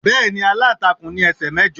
Bẹ́ẹ̀ni, aláǹtakùn ní ẹsẹ̀ mẹ́jọ